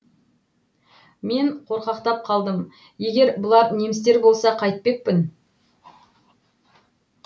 мен қорқақтап қалдым егер бұлар немістер болса қайтпекпін